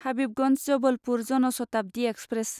Habibganj Jabalpur Jan Shatabdi express